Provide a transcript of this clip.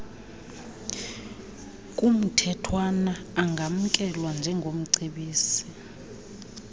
kumthethwana angamkelwa njengomcebisi